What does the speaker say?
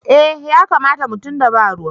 Eh ya kamata mu tunda ba ruwa.